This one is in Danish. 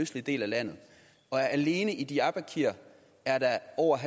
østlige del af landet og alene i diyarbakir er over